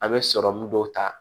A bɛ sɔrɔmun dɔw ta